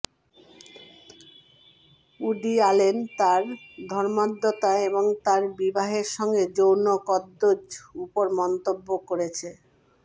woody Allen তার ধর্মান্ধতা এবং তার বিবাহের সঙ্গে যৌন কদর্য উপর মন্তব্য করেছে